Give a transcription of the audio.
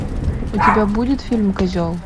у тебя будет фильм козел